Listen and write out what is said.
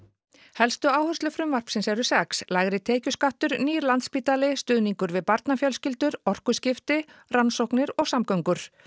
helstu áherslur frumvarpsins eru sex lægri tekjuskattur nýr Landspítali stuðningur við barnafjölskyldur orkuskipti rannsóknir og samgöngur